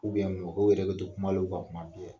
U mɔgɔw yɛrɛ de tɛ kum'al'o kan kuma bɛɛ.